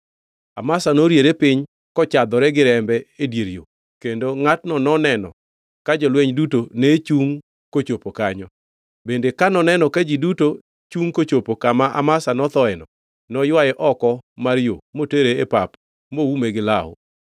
Amasa noriere piny kochadhore gi rembe e dier yo, kendo ngʼatno noneno ka jolweny duto ne chungʼ kochopo kanyo. Bende ka noneno ka ji duto chungʼ kochopo kama Amasa nothoeno, noywaye oko mar yo motere e pap moume gi law.